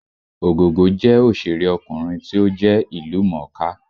Ògògó jẹ́ òṣèré ọkùnrin tí ó jẹ́ ìlú mọ̀ọ́ kà